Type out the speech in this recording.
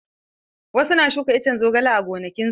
Wasu na shuka iccen zogale a gonakin su.